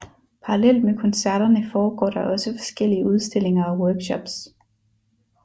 Parallelt med koncerterne foregår der også forskellige udstillinger og workshops